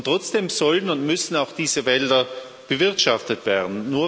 Trotzdem sollen und müssen auch diese Wälder bewirtschaftet werden.